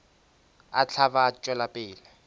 a hlaba a tšwela pele